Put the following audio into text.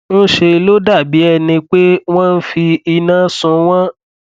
ńṣe ló dàbí ẹni pé wọn fi iná sun wọn